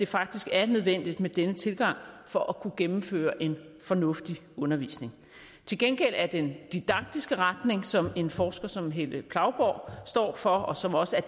faktisk er nødvendigt med denne tilgang for at kunne gennemføre en fornuftig undervisning til gengæld er den didaktiske retning som en forsker som helle plauborg står for og som også er